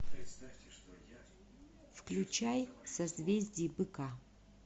включай созвездие быка